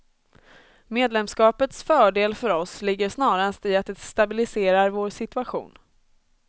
Medlemskapets fördel för oss ligger snarast i att det stabiliserar vår situation.